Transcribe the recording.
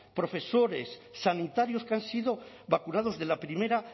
profesores sanitarios que han sido vacunados de la primera